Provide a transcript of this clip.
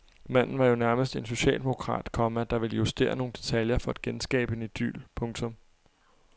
Manden var jo nærmest en socialdemokrat, komma der ville justere nogle detaljer for at genskabe en idyl. punktum